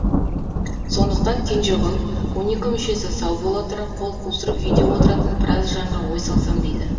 сондықтан кенжеғұл он екі мүшесі сау бола тұра қол қусырып үйде отыратын біраз жанға ой салсам дейді